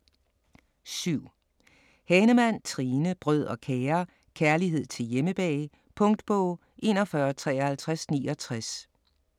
7. Hahnemann, Trine: Brød og kager: kærlighed til hjemmebag Punktbog 415369